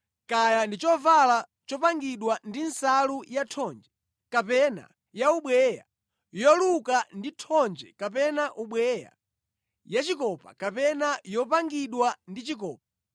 kaya ndi chovala chopangidwa ndi nsalu yathonje kapena yaubweya, yoluka ndi thonje kapena ubweya, yachikopa kapena yopangidwa ndi chikopa,